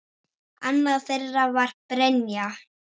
Annað þeirra var Brynja.